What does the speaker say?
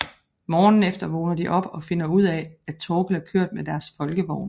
Morgenen efter vågner de op og finder ud af at Thorkild er kørt med deres Folkevogn